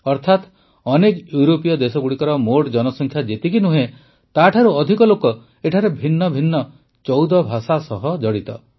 ଅର୍ଥାତ୍ ଅନେକ ୟୁରୋପୀୟ ଦେଶଗୁଡ଼ିକର ମୋଟ ଜନସଂଖ୍ୟା ଯେତିକି ନୁହେଁ ତାଠାରୁ ଅଧିକ ଲୋକ ଏଠାରେ ଭିନ୍ନ ଭିନ୍ନ ୧୪ ଭାଷା ସହ ଜଡ଼ିତ